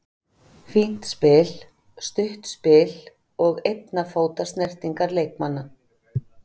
Fínt spil, stutt spil og einna fóta snertingar leikmanna.